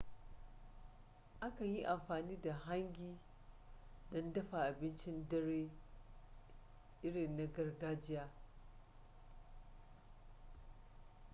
a kan yi amfani da hangi don dafa abincin dare irin na gargajiya